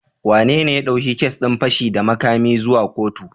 Wanene ya ɗauki kes din fashi da makamin zuwa kotu?